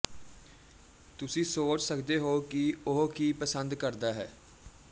ਤੁਸੀਂ ਸੋਚ ਸਕਦੇ ਹੋ ਕਿ ਉਹ ਕੀ ਪਸੰਦ ਕਰਦਾ ਹੈ